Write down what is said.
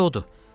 İndi odur.